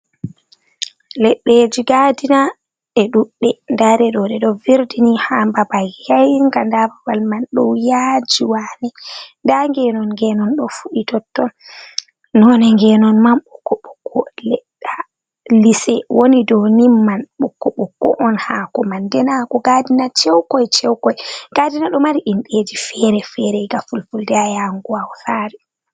Leɗɗeji gadina e ɗuɗɗe nda ɗe ɗo ɗe ɗo virdini ha babal he'inga nda babal mai ɗo yaji wane nda ngenon ngenon ɗo fuɗi totton nonde genon man ɓokko ɓokko nda lise woni dow nin man ɓokko ɓokko on hako man nden hakoo gadina chowkoi chowkoi gadina ɗo mari indeji fere fere nga fulfulde ha yahugo hausare.